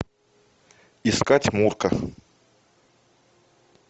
искать мурка